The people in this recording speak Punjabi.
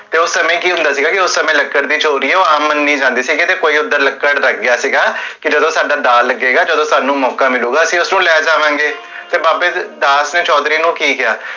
ਤੇ ਓਸ ਸਮੇ ਕੀ ਹੁੰਦਾ ਸੀਗਾ ਕੀ, ਓਸ ਸਮੇ ਲਕੜ ਦੀ ਚੁਲਦੀ ਆ, ਓਹ ਆਮ ਮੰਨੀ ਜਾਂਦੀ ਸੀਗੀ, ਤੇ ਕੋਈ ਓਦਰ ਲਕੜ ਰਖ ਗਿਆ ਸੀਗਾ, ਕੀ ਜਦੋ ਸਾਡਾ ਦਾ ਲਗੇਗਾ, ਜਦੋ ਸਾਨੂ ਮੋਕਾ ਮਿਲੁਗਾ, ਅਸੀਂ ਉਸਨੁ ਲੈ ਜਾਵਾਂਗੇ, ਤੇ ਬਾਬੇ ਦਾਸ ਨੇ ਚੋਧਰੀ ਨੂ ਕੀ ਕੇਹਾ?